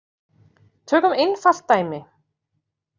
Tökum einfalt dæmi.